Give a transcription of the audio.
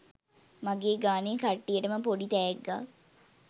මගේ ගානේ කට්ටියටම පොඩි තෑග්ගක්